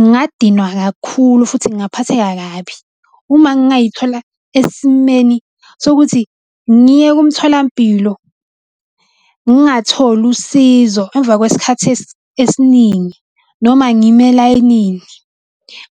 Ngingadinwa kakhulu futhi ngaphatheka kabi. Uma ngingayithola esimeni sokuthi ngiye kumtholampilo, ngingatholi usizo emva kwesikhathi esiningi noma ngime elayinini.